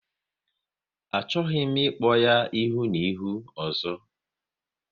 Achọghị m ịkpọ ya ihu na ihu ọzọ!